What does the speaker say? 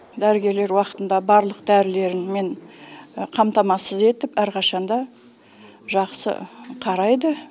дәрігерлер уақытында барлық дәрілермен қамтамасыз етіп әрқашан да жақсы қарайды